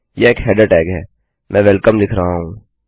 यह एक header tag है मैं वेलकम लिख रहा हूँ